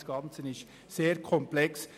Aber das Ganze ist sehr komplex.